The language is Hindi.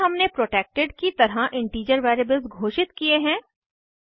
इसमें हमने प्रोटेक्टेड की तरह इंटीजर वेरिएबल्स घोषित किये हैं